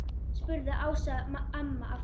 spurði Ása amma aftur.